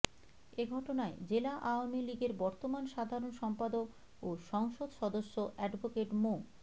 এ ঘটনায় জেলা আওয়ামী লীগের বর্তমান সাধারণ সম্পাদক ও সংসদ সদস্য অ্যাডভোকেট মো